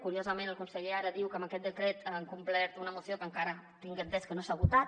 curiosament el conseller ara diu que amb aquest decret han complert una moció que encara tinc entès que no s’ha votat